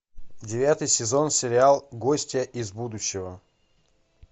девятый сезон сериал гостья из будущего